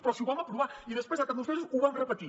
però si ho vam aprovar i després al cap d’uns mesos ho vam repetir